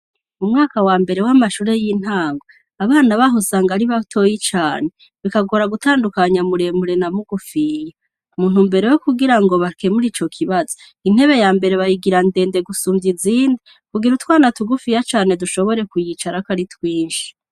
Mu mwaka wa mbere w'amashure y'intango, abana baho usanga ari batoyi cane, bikagora gutandukanya muremure na mugufiya, muntumbero yo kugira ngo bakemuri ico kibazo intebe ya mbere bayigira ndende gusumvya izindi ,kugira utwana tugufiya cane dushobore kuyicara ko ari twinshi.